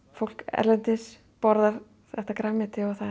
fólk erlendis borðar þetta grænmeti og það